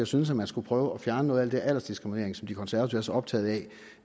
synes man skulle prøve at fjerne noget af det aldersdiskriminering som de konservative er så optaget af